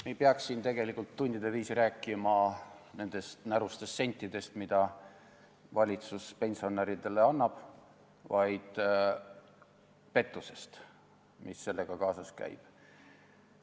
Me ei peaks siin tegelikult tundide viisi rääkima nendest närustest sentidest, mida valitsus pensionäridele annab, vaid pettusest, mis sellega kaasas käib.